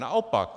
Naopak.